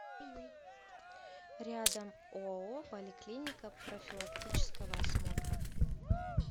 рядом оао поликлиника профилактического осмотра